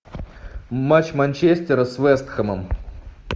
матч манчестера с вест хэмом